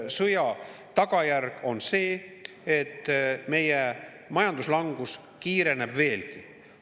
Selle maksusõja tagajärg on see, et meie majanduslangus kiireneb veelgi.